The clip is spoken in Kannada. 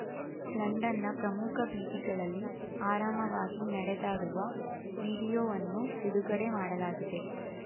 ಲಂಡನ್‌ನ ಪ್ರಮುಖ ಬೀದಿಗಳಲ್ಲಿ ಆರಾಮವಾಗಿ ನಡೆದಾಡುವ ವೀಡಿಯೊವನ್ನು ಬಿಡುಗಡೆ ಮಾಡಲಾಗಿದೆ